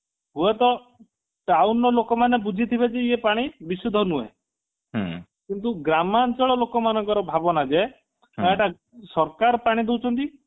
ହୁଏତ town ର ଲୋକମାନେ ବୁଝିଥିବେ କି ଇଏ ପାଣି ବିଶୁଦ୍ଧ ନୁହଁ କିନ୍ତୁ ଗ୍ରାମାଞ୍ଚଳ ଲୋକମାନଙ୍କର ଭାବନା ଯେ ହେଇଟା ସରକାର ପାଣି ଦଉଛନ୍ତି